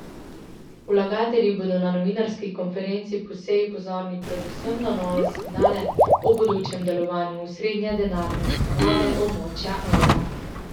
Vlagatelji bodo na novinarski konferenci po seji pozorni predvsem na nove signale o bodočem delovanju osrednje denarne ustanove območja evra.